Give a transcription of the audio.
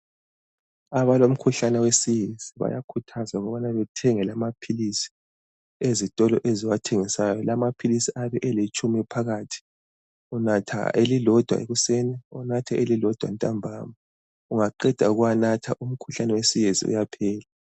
Abalomkhuhlane wesiyezi bayakhuthazwa ukubana bethenge la maphilisi ezitolo eziwathengisayo, la maphilisi ayabe alitshumi phakathi. Unatha elilodwa ekuseni ubunathe elilodwa ntambama, ungaqeda ukuwanatha umkhuhlane wesiyezi uyaphela.